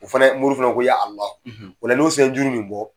O fana moriw fana ko o la n'o se ye